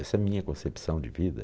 Essa é minha concepção de vida.